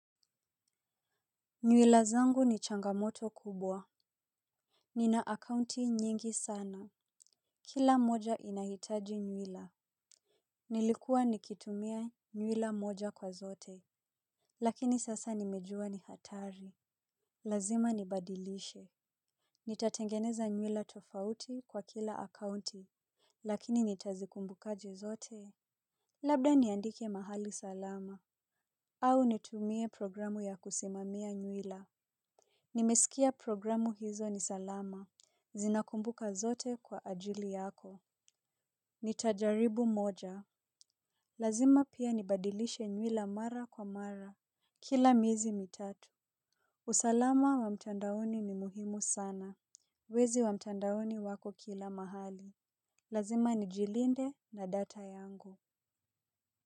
Nywila zangu ni changamoto kubwa. Nina akaunti nyingi sana. Kila moja inahitaji nywila. Nilikuwa nikitumia nywila moja kwa zote. Lakini sasa nimejua ni hatari. Lazima nibadilishe nitatengeneza nywila tofauti kwa kila akaunti. Lakini nitazikumbukaje zote labda niandike mahali salama. Au nitumie programu ya kusimamia nywila. Nimesikia programu hizo ni salama. Zinakumbuka zote kwa ajili yako. Nitajaribu moja. Lazima pia nibadilishe nywila mara kwa mara. Kila miezi mitatu usalama wa mtandaoni ni muhimu sana. Wezi wa mtandauni wako kila mahali. Lazima nijilinde na data yangu.